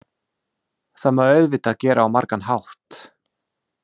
Það má auðvitað gera á margan hátt.